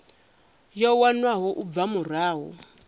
yo wanwaho u bva murahu